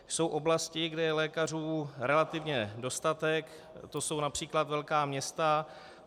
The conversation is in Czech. Jsou oblasti, kde je lékařů relativně dostatek, to jsou například velká města.